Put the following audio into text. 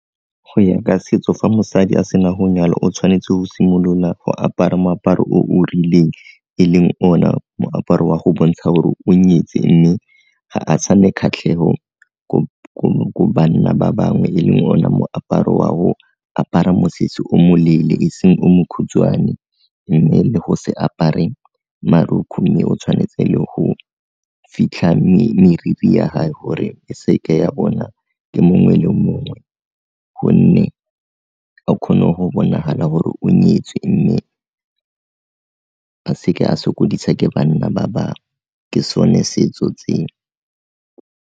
Go ya ka setso fa mosadi a sena go nyalwa o tshwanetse go simolola go apara moaparo o o rileng e leng o na moaparo wa go bontsha gore o nyetswe mme ga a sa ne kgatlhego ko banna ba bangwe e leng o na moaparo wa go apara mosese o moleele e seng o mokhutswane, mme le go se apare marukgu mme o tshwanetse le go fitlha meriri ya gae gore e seke ya bona ke mongwe le mongwe, gonne a kgone go bonagala gore o nyetswe mme a seke a sokodisa ke banna ba bangwe, ke sone setso .